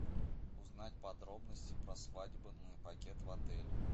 узнать подробности про свадебный пакет в отеле